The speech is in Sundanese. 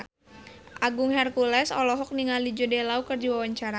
Agung Hercules olohok ningali Jude Law keur diwawancara